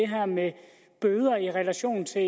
her med bøder i relation til